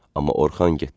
Amma Orxan getdi.